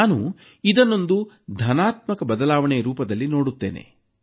ನಾನು ಇದನ್ನೊಂದು ಧನಾತ್ಮಕ ಬದಲಾವಣೆ ರೂಪದಲ್ಲಿ ನೋಡುತ್ತೇನೆ